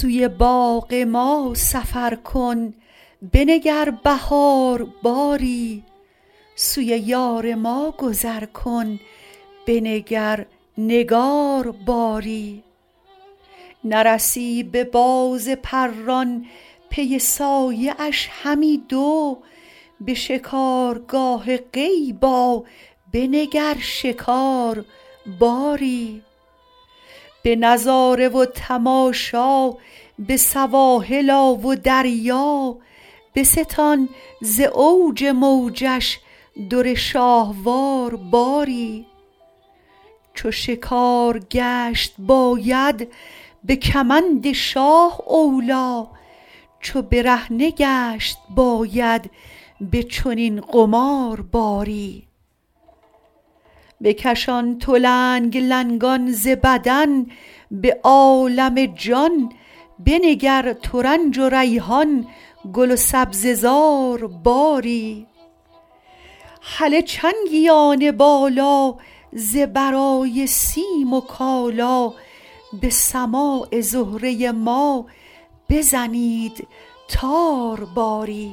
سوی باغ ما سفر کن بنگر بهار باری سوی یار ما گذر کن بنگر نگار باری نرسی به باز پران پی سایه اش همی دو به شکارگاه غیب آ بنگر شکار باری به نظاره و تماشا به سواحل آ و دریا بستان ز اوج موجش در شاهوار باری چو شکار گشت باید به کمند شاه اولی چو برهنه گشت باید به چنین قمار باری بکشان تو لنگ لنگان ز بدن به عالم جان بنگر ترنج و ریحان گل و سبزه زار باری هله چنگیان بالا ز برای سیم و کالا به سماع زهره ما بزنید تار باری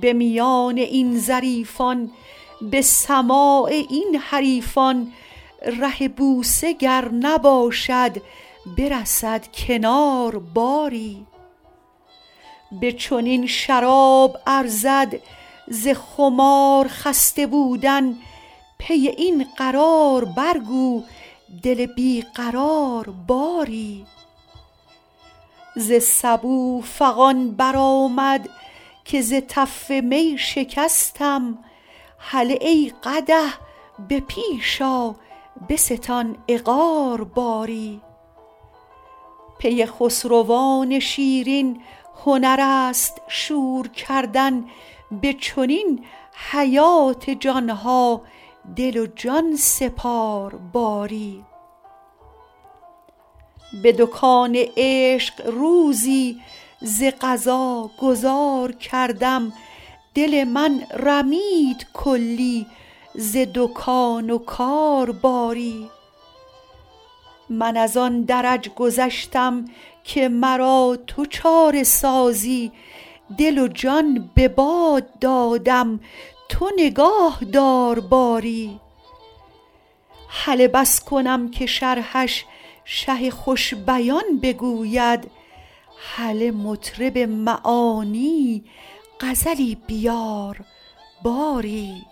به میان این ظریفان به سماع این حریفان ره بوسه گر نباشد برسد کنار باری به چنین شراب ارزد ز خمار خسته بودن پی این قرار برگو دل بی قرار باری ز سبو فغان برآمد که ز تف می شکستم هله ای قدح به پیش آ بستان عقار باری پی خسروان شیرین هنر است شور کردن به چنین حیات جان ها دل و جان سپار باری به دکان عشق روزی ز قضا گذار کردم دل من رمید کلی ز دکان و کار باری من از آن درج گذشتم که مرا تو چاره سازی دل و جان به باد دادم تو نگاه دار باری هله بس کنم که شرحش شه خوش بیان بگوید هله مطرب معانی غزلی بیار باری